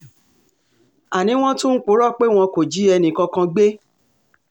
àní wọ́n tún ń purọ́ pé wọn kò jí ẹnìkankan gbé